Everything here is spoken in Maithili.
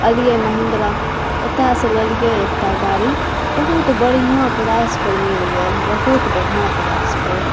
अलिये महिंद्रा औता से ललिए एकटा गाड़ी बहुत बढ़िया प्राइस पर मिल गएल बहुत बढ़िया प्राइस पर।